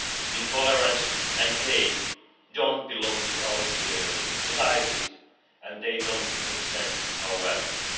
Intolerance and hate don't belong in our societies, and they don't represent our values.